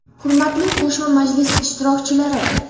Hurmatli qo‘shma majlis ishtirokchilari!